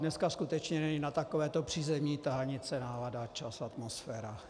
Dneska skutečně není na takovéto přízemní tahanice nálada, čas a atmosféra.